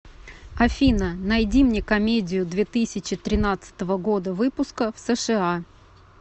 афина найди мне комедию две тысячи тринадцатого года выпуска в сша